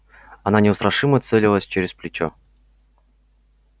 она неустрашимо целилась через плечо